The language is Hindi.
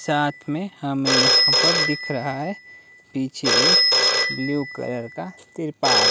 साथ में हमें यहां पर दिख रहा है पीछे एक ब्लू कलर का तिरपाल--